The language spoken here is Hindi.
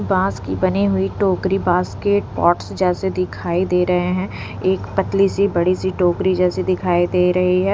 बास की बनी हुई टोकरी बास्केट पॉट्स जैसे दिखाई दे रहे हैं एक पतली सी बड़ी सी टोकरी जैसी दिखाई दे रही है।